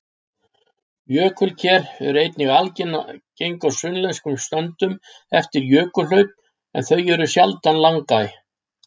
Jökulker eru einnig algeng á sunnlenskum söndum eftir jökulhlaup en þau eru sjaldan langæ.